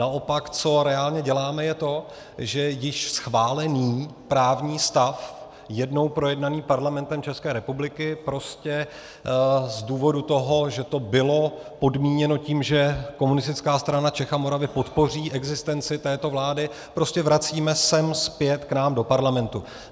Naopak, co reálně děláme, je to, že již schválený právní stav jednou projednaný Parlamentem České republiky prostě z důvodu toho, že to bylo podmíněno tím, že Komunistická strana Čech a Moravy podpoří existenci této vlády, prostě vracíme sem zpět k nám do Parlamentu.